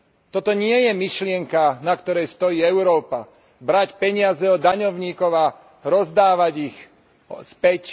Toto nie je myšlienka, na ktorej stojí Európa brať peniaze od daňovníkov a rozdávať ich späť.